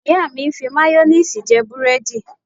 Ìyá mi ń fi máyóníìsì jẹ búrẹ́dì